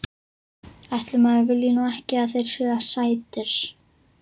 Ætli maður vilji nú ekki að þeir séu sætir.